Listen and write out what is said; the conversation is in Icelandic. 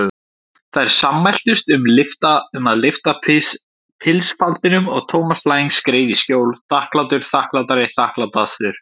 Þær sammæltust um að lyfta pilsfaldinum og Thomas Lang skreið í skjól, þakklátur, þakklátari, þakklátastur.